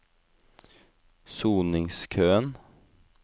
soningskøen